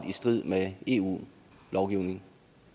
i strid med eu lovgivningen